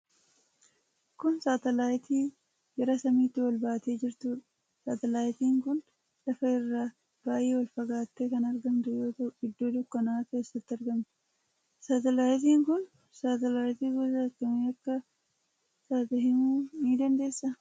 Kun satalaayitii gara samiitti ol baatee jirtuudha. Satalaayitiin kun lafa irraa baay'ee ol fagaattee kan argamtu yoo ta'u, iddoo dukkanaa'aa keessatti argamti. Satalaayiitiin kun satalaayitii gosa kamii akka taatee himuu dandeessaa?